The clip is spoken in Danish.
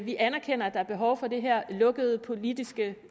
vi anerkender at der er behov for det her lukkede politiske